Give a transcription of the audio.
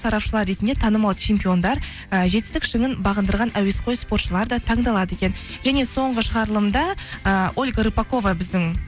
сарапшылар ретінде танымал чемпиондар і жетістік шыңын бағындырған әуесқой спортшылар да таңдалады екен және соңғы шығарылымда ыыы ольга рыпакова біздің